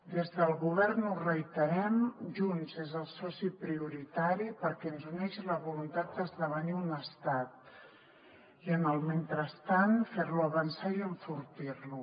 des del govern ho reiterem junts és el soci prioritari perquè ens uneix la voluntat d’esdevenir un estat i en el mentrestant fer lo avançar i enfortir lo